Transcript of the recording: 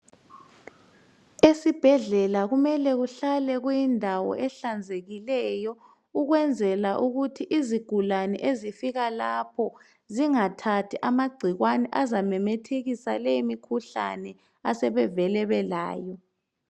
esibhedlela kumele kuhlale kuindawo ehlanzekileyo ukwenzela ukuthi izigulane ezifika lapha zingathathi amacikwane azamemethekisa leyi mikhuhlane abesevele belayo.